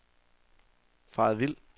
faret vild